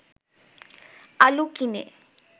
আলু কিনে